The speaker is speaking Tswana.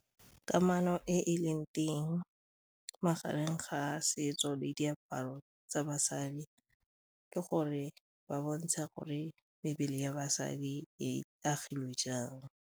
Kamano e e leng teng magareng ga setso le diaparo tsa basadi ke gore ba bontsha gore mebele ya basadi e agilwe jang.